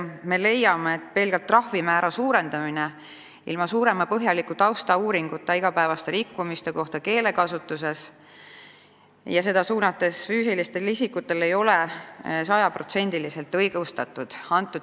Me leiame, et kui ilma põhjaliku taustauuringuta pelgalt suurendatakse trahvi rikkumiste eest igapäevases keelekasutuses, rakendades seda füüsiliste isikute suhtes, siis see ei ole sajaprotsendiliselt õigustatud.